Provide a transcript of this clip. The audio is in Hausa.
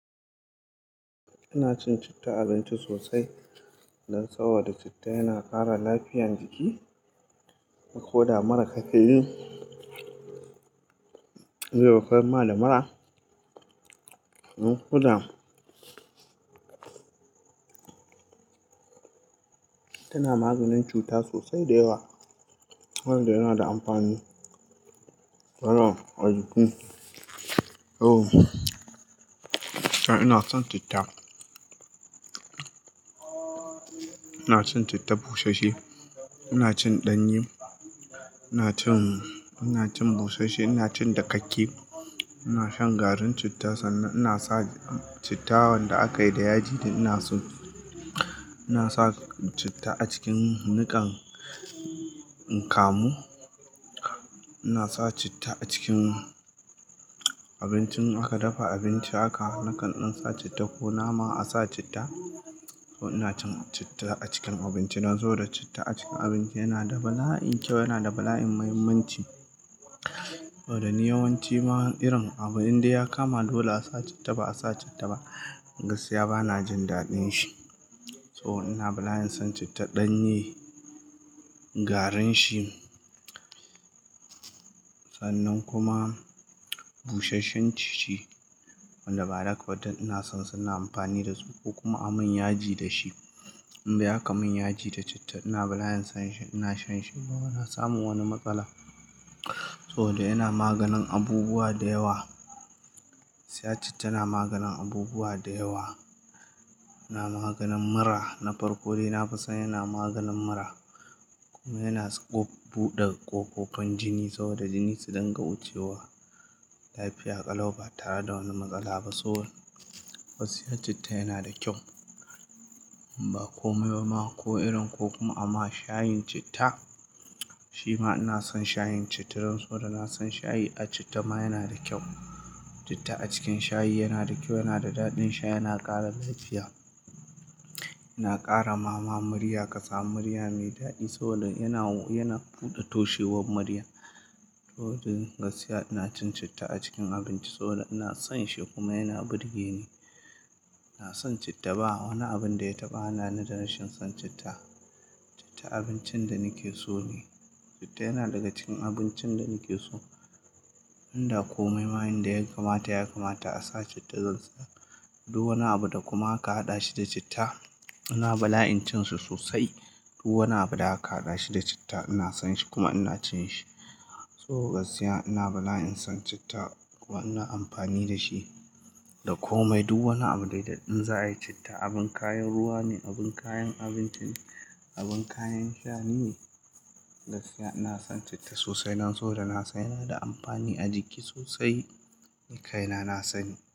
Ina cin citta abinci sosai, dan saboda citta yana kara lafiyan jiki. Ko da mura ka ke yi, zobo kamar lamara. Ko da tana maganin cuta sosai da yawa. Wanda yana da amfani. To, ajuju. Oh! Ina son citta. Ina cin citta busheshe, ina cin ɗanye, ina cin, ina cin busheshe, ina cin dakakke. Ina shan garin citta sannan ina sa citta wanda aka yi da yaji dai ina so. Ina sa citta a cikin nikan kamu. Ina sa citta a cikin abincin aka dafa abinci haka nakan ɗan citta ko nama a sa citta. To ina cin citta a cikin abinci nan so da citta a cikin abinci yana da bala'in kyau, yana da bala'in muhimmanci. To, da ni yawanci ma irin abun inda ya kama dole a sa citta, ba a sa citta ba gaskiya bana jin daɗin shi. So ina bala'in son citta ɗanye, garin shi sannan kuma busheshen shi. Wanda ba a daka ba duk ina son su ina amfani dasu ko kuma amun yaji dashi. In dai aka min yaji da citta ina bala'in son shi, ina shan shi ba na samun wani matsala. Sabo da yana maganin abubuwa da yawa. Gaskiya citta na maganin abubuwa da yawa. Na maganin mura na farko dai na fi son yana maganin mura. Kuma yana s ko buɗe ƙofofin jini saboda jini su dinga wucewa. Lafiya ƙalau ba tare da wani matsala ba. So gaskiya citta yana da kyau. Ba komai ba ma ko irin ko kuma amma shayin citta, shi ma ina son shayin citta dan so da na son shayi a citta ma yana da kyau. Citta a cikin shayi yana da kyau, yana da daɗin sha yana ƙara lafiya. Yana ƙara ma murya ka samu murmya mai daɗi. Saboda yana, yana buɗe toshewar murya. To, jin gaskiya ina cin citta a cikin abinci so ina son shi kuma yana burge ni. Ina son citta ba wani abin da ya taɓa hana ni da rashin son citta. Citta abincin da nake so ne. Citta yana daga cikin abincin da nake so. Inda komai mayen da ya kamata ya kamata a sa citta zan sa. Duk wani abu da kuma ka haɗa shi da citta ina bala'in cin su sosai. Duk wani abu da aka haɗa shi da citta ina son shi kuma ina cin shi So gaskiya ina bala'in son citta kuma ina amfani da shi da komai. Duk wani abu dai da in za a yi citta abin kayan ruwa ne, abin kayan abinci ne, abin kayan shayi ne. Gaskiya ina son citta sosai nan so da na san yana da amfani a jiki sosai. Kai na, na sani.